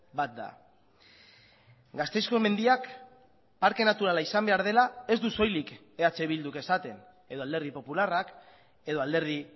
bat da gasteizko mendiak parke naturala izan behar dela ez du soilik eh bilduk esaten edo alderdi popularrak edo alderdi